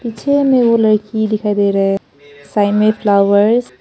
पीछे में वो लड़की दिखाई दे रहा है साइड में फ्लावर्स --